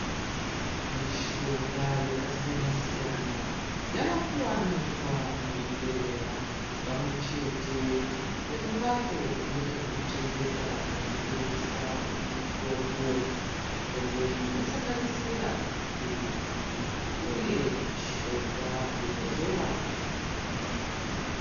Mishonga yakasiyana-siyana yavakuwanikwa muzvibhehlera pamwechete nekumbatso dzinoita zvekuchengeta nekutengesa mitombo. Mitombo iyi inosanganisira maphirizi uye mishonga yekuzora kana kumwa.